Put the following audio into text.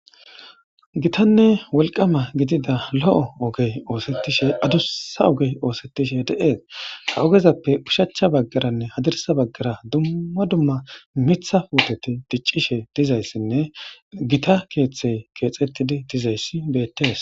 Gitanee woliqqama gidida lo'o ogeyi osetishe adusa ogeyi osetishe de'es ha igezape ushacha bagaranee hadirisa bagara duma duma mitha puteti dichshe dizayisnee gitta kethe kethetidi dizays betes